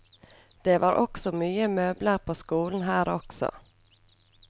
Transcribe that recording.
Det var også mye møbler på skolen her også.